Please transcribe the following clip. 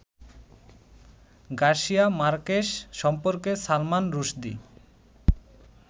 Garcia Marquez সম্পর্কে সালমান রুশদি